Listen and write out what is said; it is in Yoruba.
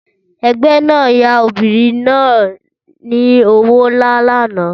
Ẹgbẹ́ náà yá obìnrin náà ni owó nlá lánàá